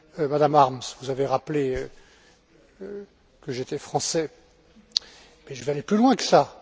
Madame Harms, vous avez rappelé que j'étais français mais je vais aller plus loin que ça.